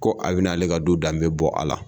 Ko a be na ale ka du danbe bɔ a la.